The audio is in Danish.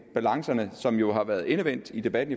balancen som jo har været endevendt i debatten